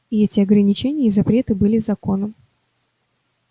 и эти ограничения и запреты были законом